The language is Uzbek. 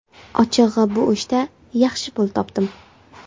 Ochig‘i, bu ishda yaxshi pul topdim.